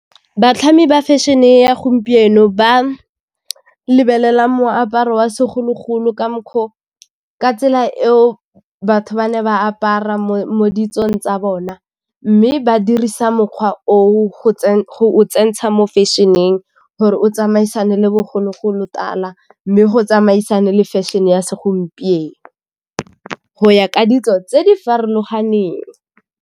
Batlhami ba fashion-e ya gompieno ba lebelela moaparo wa segologolo ka tsela eo batho ba ne ba apara mo ditsong tsa bona, mme ba dirisa mokgwa o o go o tsentsha mo fashion-eng gore o tsamaisane le bogologolotala mme go tsamaisane le fashion-e ya segompieno go ya ka ditso tse di farologaneng.